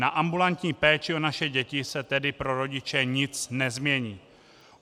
Na ambulantní péči o naše děti se tedy pro rodiče nic nezmění.